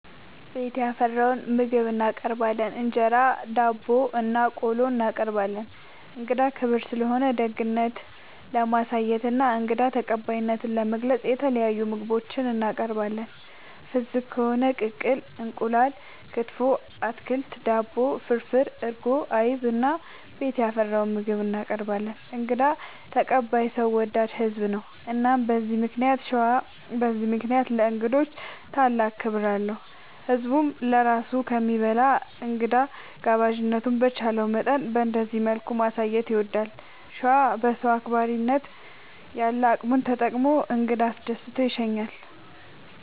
ቤት ያፈራውን ምግብ እናቀርባለን እንጀራ፣ ዳቦናቆሎ እናቀርባለን። እንግዳ ክብር ስለሆነ ደግነት ለማሳየትና እንግዳ ተቀባይነትን ለመግለፅ የተለያዩ ምግቦች እናቀርባለን። ፍስግ ከሆነ ቅቅል እንቁላል፣ ክትፎ፣ አትክልት፣ ዳቦ፣ ፍርፍር፣ እርጎ፣ አይብ እና ቤት ያፈራውን ምግብ እናቀርባለን እንግዳ ተቀባይ ሰው ወዳድ ህዝብ ነው። እና በዚህ ምክንያት ሸዋ በዚህ ምክንያት ለእንግዶች ታላቅ ክብር አለው። ህዝብም ለራሱ ከሚበላ እንግዳ ጋባዥነቱን በቻለው መጠን በእንደዚህ መልኩ ማሳየት ይወዳል። ሸዋ በሰው አክባሪነት ያለ አቅሙን ተጠቅሞ እንግዳ አስደስቶ ይሸኛል።